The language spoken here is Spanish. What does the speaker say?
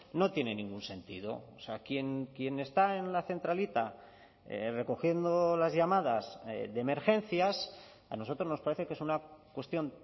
no tiene ningún sentido o sea quien está en la centralita recogiendo las llamadas de emergencias a nosotros nos parece que es una cuestión